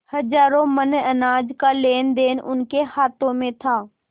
हजारों मन अनाज का लेनदेन उनके हाथ में था